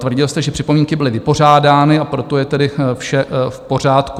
Tvrdil jste, že připomínky byly vypořádány, a proto je tedy vše v pořádku.